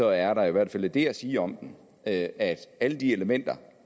er der i hvert fald det at sige om den at at alle de elementer